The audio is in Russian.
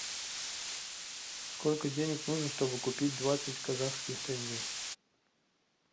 сколько денег нужно чтобы купить двадцать казахских тенге